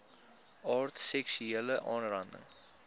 aard seksuele aanranding